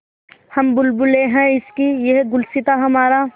हम बुलबुलें हैं इसकी यह गुलसिताँ हमारा